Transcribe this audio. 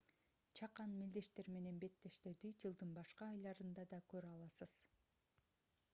чакан мелдештер менен беттештерди жылдын башка айларында да көрө аласыз